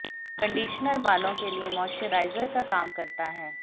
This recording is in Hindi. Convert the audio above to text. कंडीशनर बालों के लिए मॉइश्चराइजर का काम करता है